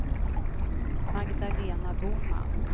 Magdalena Boman